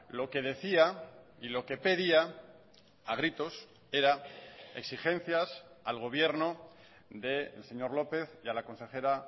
lo que decía y lo que pedía a gritos era exigencias al gobierno del señor lópez y a la consejera